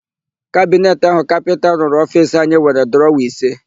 Kabineti áhụ̀ kapịnta rụrụ ofiisi anyị nwere drọwa ise.